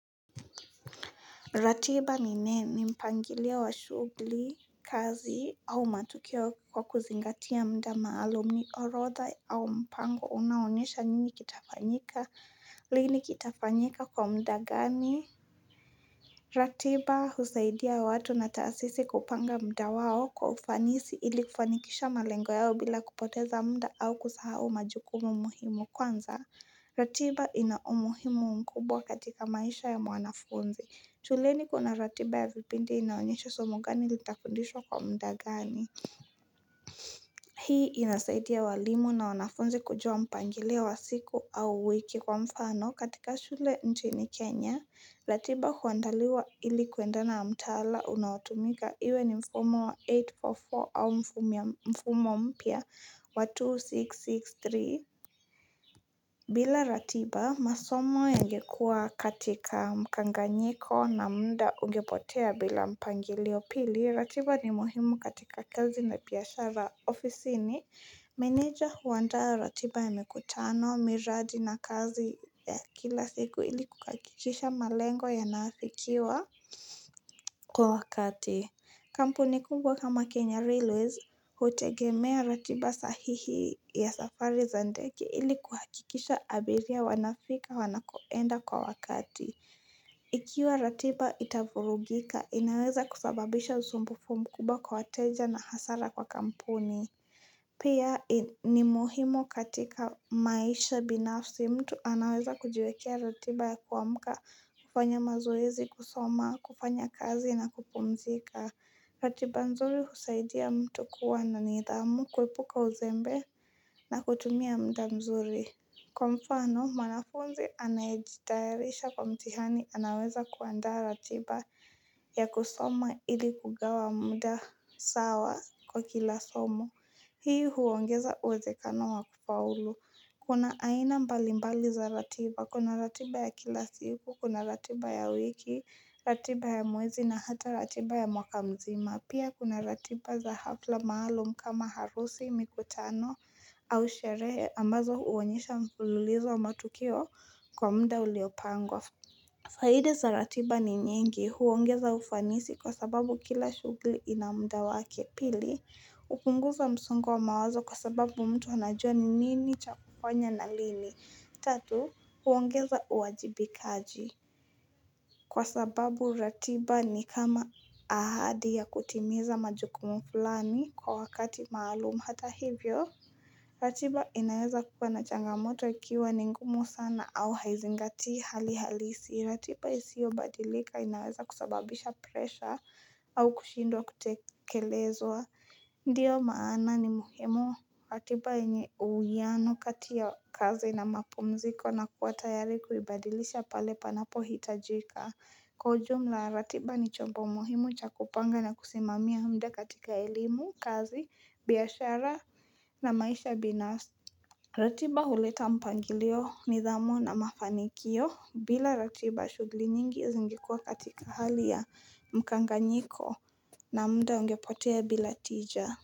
Ratiba ninaye ni mpangilio wa shugli kazi au matukio kwa kuzingatia mda maalum ni orodha au mpango unaonyesha nini kitafanyika lini kitafanyika kwa mda gani? Ratiba husaidia watu na taasisi kupanga mda wao kwa ufanisi ili kufanikisha malengo yao bila kupoteza mda au kusahau majukumu muhimu kwanza. Ratiba ina umuhimu mkubwa katika maisha ya mwanafunzi shuleni kuna ratiba ya vipindi inaonyesha somo gani litafundishwa kwa mda gani Hii inasaidia walimu na wanafunzi kujua mpangilio wa siku au wiki kwa mfano katika shule nchini Kenya ratiba huandaliwa ili kwenda na mtaala unaotumika iwe ni mfumo wa 844 au mfumo mpya wa 2663 bila ratiba masomo yangekua katika mkanganyiko na muda ungepotea bila mpangilio pili ratiba ni muhimu katika kazi na piashara ofisini Meneja huandaa ratiba ya mikutano miradi na kazi ya kila siku ili kukakikisha malengo yanaafikiwa Kwa wakati Kampuni kubwa kama Kenya Railways hutegemea ratiba sahihi ya safari za ndege ili kuhakikisha abiria wanafika wanakoenda kwa wakati Ikiwa ratiba itafurugika inaweza kusababisha usumbufu mkubwa kwa wateja na hasara kwa kampuni Pia ni muhimu katika maisha binafsi mtu anaweza kujiwekea ratiba ya kuamuka, kufanya mazoezi, kusoma, kufanya kazi na kupumzika. Ratiba mzuri husaidia mtu kuwa na nidhamu, kuepuka uzembe na kutumia mda mzuri. Kwa mfano, mwanafunzi anayejitayarisha kwa mtihani anaweza kuandaa ratiba ya kusoma ili kugawa muda sawa kwa kila somo. Hii huongeza uwezekano wa kufaulu. Kuna aina mbalimbali za ratiba. Kuna ratiba ya kila siku, kuna ratiba ya wiki, ratiba ya mwezi na hata ratiba ya mwaka mzima. Pia kuna ratiba za hafla maalum kama harusi, mikutano au sherehe ambazo huonyesha mfululizo wa matukio kwa mda uliopangwa. Faida za ratiba ni nyingi huongeza ufanisi kwa sababu kila shugli ina mda wake pili. Upunguza msongo wa mawazo kwa sababu mtu anajua ni nini cha kufanya na lini. Tatu, huongeza uwajibikaji. Kwa sababu ratiba ni kama ahadi ya kutimiza majukumu fulani kwa wakati maalum hata hivyo. Ratiba inaweza kuwa na changamoto ikiwa ni ngumu sana au haizingatii hali halisi. Ratiba isio badilika inaweza kusababisha presha au kushindwa kutekelezwa. Ndiyo maana ni muhimu ratiba yenye uwiano kati ya kazi na mapumziko na kuwa tayari kuibadilisha pale panapo hitajika. Kwa ujumla ratiba ni chombo muhimu cha kupanga na kusimamia mda katika elimu, kazi, biashara na maisha binafsi. Ratiba huleta mpangilio nidhamu na mafanikio bila ratiba shugli nyingi zingekuwa katika hali ya mkanganyiko na mda ungepotea bila tija.